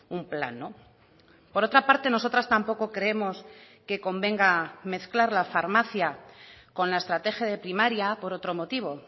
un plan por otra parte nosotras tampoco creemos que convenga mezclar la farmacia con la estrategia de primaria por otro motivo